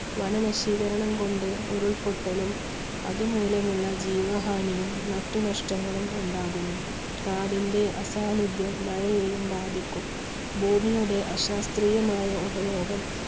വനനശീകരണം കൊണ്ട് ഉരുൾപൊട്ടലും അതുമൂലം ഉള്ള ജീവഹാനിയും മറ്റു നഷ്ടങ്ങളും ഉണ്ടാകുന്നു. കാടിന്റെ അസാന്നിധ്യം മഴയെയും ബാധിക്കുന്നു. ഭൂമിയുടെ അശാസ്ത്രീയമായ ഉപയോഗം